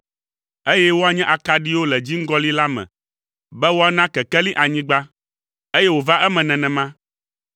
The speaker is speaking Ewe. eye woanye akaɖiwo le dziŋgɔli la me be woana kekeli anyigba.” Eye wòva eme nenema.